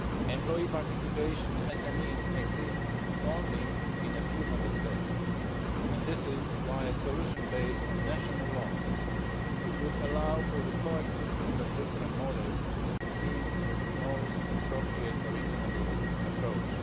Employee participation in SMEs exists only in a few Member States, and this is why a solution based on national laws, which would allow for the coexistence of different models, seemed the most appropriate and reasonable approach.